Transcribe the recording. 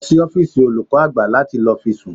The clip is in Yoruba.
Lọ sí ọ́fíìsì olùkọ́ àgbà láti lọ fi sùn